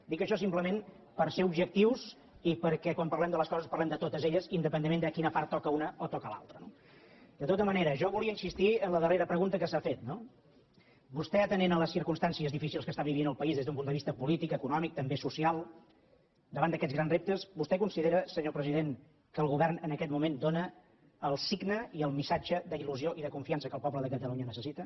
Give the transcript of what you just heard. dic això simplement per ser objectius i perquè quan parlem de les coses parlem de totes elles independentment de quina part toca una o toca l’altra no de tota manera jo volia insistir en la darrera pregunta que s’ha fet no vostè atenent a les circumstàncies difícils que viu el país des d’un punt de vista polític econòmic també social davant d’aquests grans reptes vostè considera senyor president que el govern en aquest moment dóna el signe i el missatge d’il·lusió i de confiança que el poble de catalunya necessita